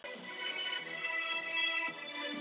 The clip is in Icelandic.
Úrsúla: Hvað var það ekki einu sinni í mánuði?